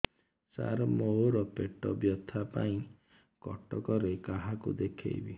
ସାର ମୋ ର ପେଟ ବ୍ୟଥା ପାଇଁ କଟକରେ କାହାକୁ ଦେଖେଇବି